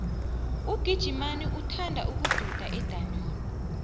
ugijimani uthanda ukududa edamini